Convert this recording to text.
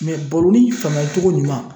baroni faamuyali cogo ɲuman